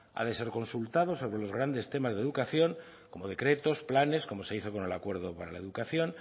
ha de ser consultado sobre los grandes temas de educación como decretos planes como se hizo con el acuerdo para la educación